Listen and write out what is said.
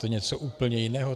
To je něco úplně jiného.